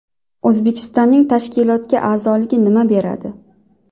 O‘zbekistonning tashkilotga a’zoligi nima beradi?